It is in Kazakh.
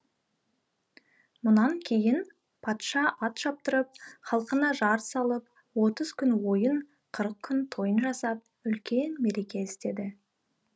мұнан кейін патша ат шаптырып халқына жар салып отыз күн ойын қырық күн тойын жасап үлкен мереке істеді